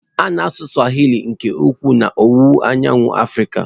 A na-asụ Swahili nke ukwuu n'Owuwu Anyanwụ Africa.